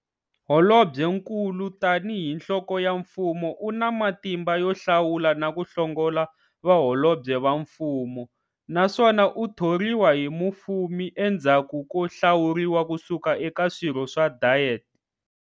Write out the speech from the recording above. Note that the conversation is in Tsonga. Holobyenkulu tani hi nhloko ya mfumo una matimba yo hlawula naku hlongola Vaholobye va Mfumo, naswona u thoriwa hi mufumi endzhaku ko hlawuriwa kusuka eka swirho swa Diet.